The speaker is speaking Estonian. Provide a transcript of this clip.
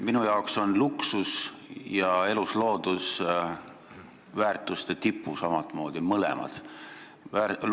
Minu arvates on luksus ja elusloodus omamoodi mõlemad väärtuste tipus.